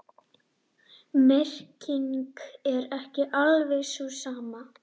Merkingin er ekki alveg sú sama.